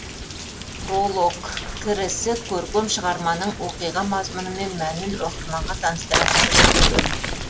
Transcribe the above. пролог кірісі көркем шығарманың оқиға мазмұнымен мәнін оқырманға таныстыратын кіріспе бөлімі